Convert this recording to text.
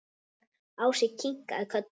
Ási kinkaði kolli.